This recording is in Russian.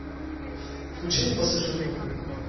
включи мне пассажирка